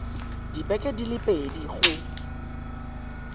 dibeke di le pedi go